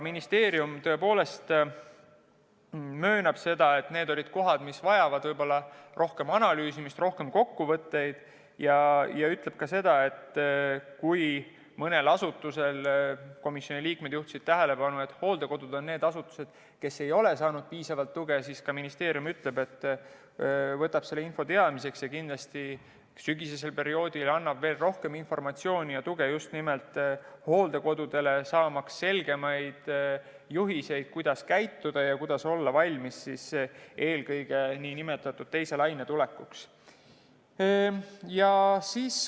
Ministeerium tõepoolest möönab, et need olid kohad, mis vajavad rohkem analüüsimist, rohkem kokkuvõtteid, ja ütleb ka seda, et kui mõni asutus – komisjoni liikmed juhtisid tähelepanu, et hooldekodud on need asutused –, kes ei ole saanud piisavalt tuge, siis ministeerium võtab selle info teadmiseks ja kindlasti sügisesel perioodil annab veel rohkem informatsiooni ja tuge just nimelt hooldekodudele, kes saaksid selgemaid juhiseid, kuidas käituda ja olla valmis eelkõige teise laine tulekuks.